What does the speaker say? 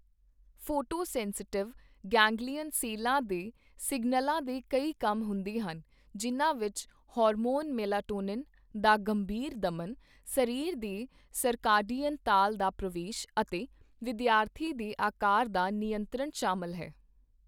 Photosensitive ganglion ਸੈੱਲਾਂ ਦੇ ਸਿਗਨਲਾਂ ਦੇ ਕਈ ਕੰਮ ਹੁੰਦੇ ਹਨ ਜਿਨ੍ਹਾਂ ਵਿੱਚ ਹਾਰਮੋਨ ਮੇਲਾਟੋਨਿਨ ਦਾ ਗੰਭੀਰ ਦਮਨ, ਸਰੀਰ ਦੇ ਸਰਕਾਡੀਅਨ ਤਾਲ ਦਾ ਪ੍ਰਵੇਸ਼ ਅਤੇ ਵਿਦਿਆਰਥੀ ਦੇ ਅਕਾਰ ਦਾ ਨਿਯੰਤਰਣ ਸ਼ਾਮਲ ਹੈ।